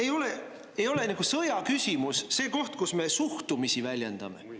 Minu meelest ei ole sõjaküsimus see koht, kus me suhtumisi väljendame.